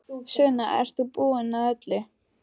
Sunna, ert þú búin að öllu?